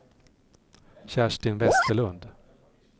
Kerstin Westerlund